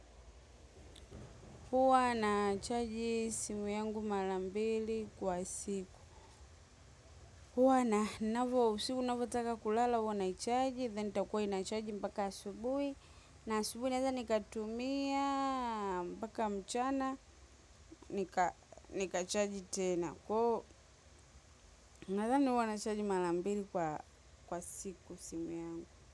Huwa nachaji simu yangu mara mbili kwa siku. Huwa na ninavyo usiku ninavyotaka kulala huwa naichaji. Then itakuwa inachaji mpaka asubuhi. Na asubuhi naweza nikatumia mpaka mchana. Nikachaji tena. Kwa hiyo nadhani huwa nachaji mara mbili kwa siku simu yangu.